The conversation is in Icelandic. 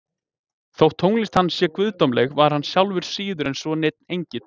þótt tónlist hans sé guðdómleg var hann sjálfur síður en svo neinn engill